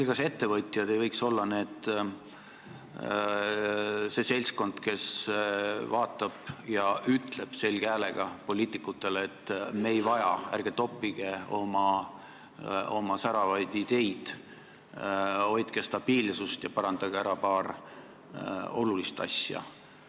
Kas ettevõtjad ei võiks olla see seltskond, kes vaatab ja ütleb selge häälega poliitikutele, et me ei vaja seda, ärge toppige oma säravaid ideid, hoidke stabiilsust ja parandage ära paar olulist asja?